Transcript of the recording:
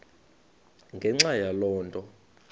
ngenxa yaloo nto